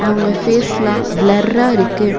அவங்க ஃபேஸ் எல்லாம் ப்ளெரா இருக்கு.